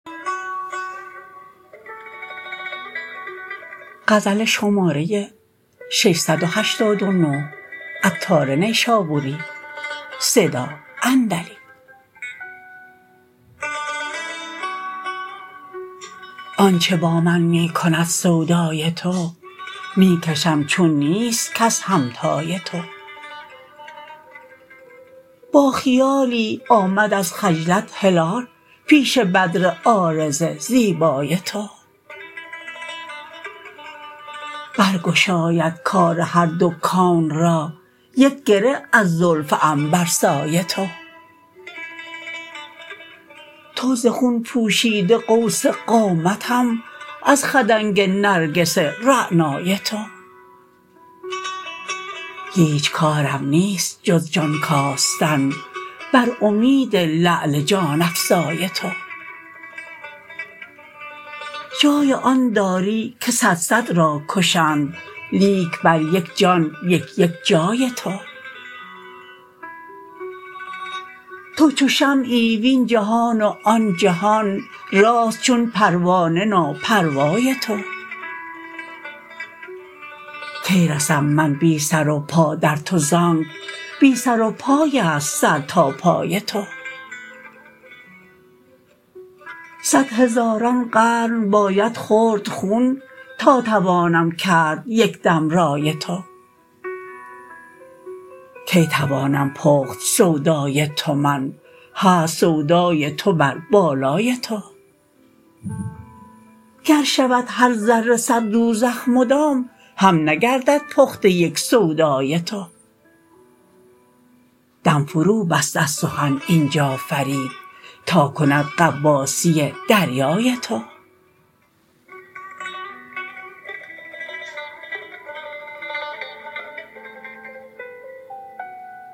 آنچه با من می کند سودای تو می کشم چون نیست کس همتای تو با خیالی آمد از خجلت هلال پیش بدر عارض زیبای تو بر گشاید کار هر دو کون را یک گره از زلف عنبرسای تو تو ز خون پوشیده قوس قامتم از خدنگ نرگس رعنای تو هیچ کارم نیست جز جان کاستن بر امید لعل جان افزای تو جای آن داری که صد صد را کشند لیک بر یک جان یک یک جای تو تو چو شمعی وین جهان و آن جهان راست چون پروانه ناپروای تو کی رسم من بی سر و پا در تو زانک بی سر و پای است سر تا پای تو صد هزاران قرن باید خورد خون تا توانم کرد یکدم رای تو کی توانم پخت سودای تو من هست سودای تو بر بالای تو گر شود هر ذره صد دوزخ مدام هم نگردد پخته یک سودای تو دم فرو بست از سخن اینجا فرید تا کند غواصی دریای تو